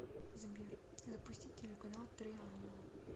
сбер запустить телеканал три ангела